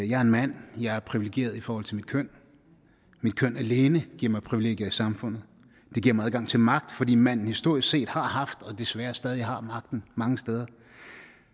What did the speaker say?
jeg er en mand jeg er privilegeret i forhold til mit køn mit køn alene giver mig privilegier i samfundet det giver mig adgang til magt fordi manden historisk set har haft og desværre stadig væk har magten mange steder